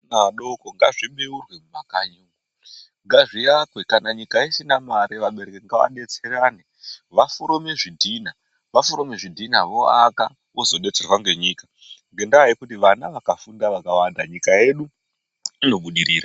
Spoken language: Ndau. Adoko ngazvibheurwe mumakanyi, ngazviakwe kana nyika isina mare vabereki ngavadetserane vaforome zvidhina. Vaforome zvidhina voaka vozodetserwa ngenyika, ngendaa yekuti vana vakafunde vakawanda nyika yedu inobudirira.